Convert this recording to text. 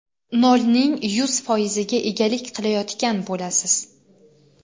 nolning yuz foiziga egalik qilayotgan bo‘lasiz.